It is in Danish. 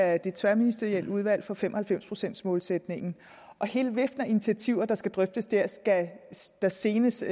af det tværministerielle udvalg for fem og halvfems procents målsætningen og hele viften af initiativer der skal drøftes der skal der senest